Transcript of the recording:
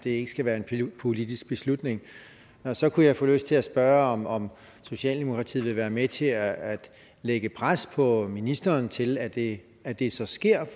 ikke skal være en politisk beslutning så kunne jeg få lyst til at spørge om om socialdemokratiet vil være med til at lægge pres på ministeren til at det at det så sker